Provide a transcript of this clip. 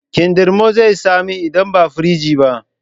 Kindirmon zai yi tsami idan baa fringe ba